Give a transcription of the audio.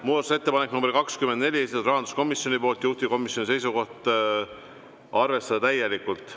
Muudatusettepanek nr 24, esitanud rahanduskomisjon, juhtivkomisjoni seisukoht: arvestada täielikult.